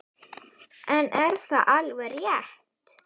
En er það alveg rétt?